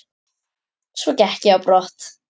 Svo gekk ég á brott.